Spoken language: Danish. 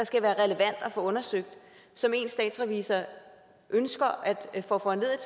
skal være relevant at få undersøgt som én statsrevisor ønsker at få foranlediget